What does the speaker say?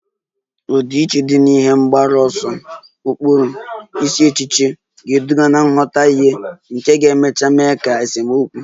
Ọdịiche dị na ihe mgbaru ọsọ, ụkpụrụ, isi echiche ga-eduga nghọtahie nke ga-emecha mee ka esemokwu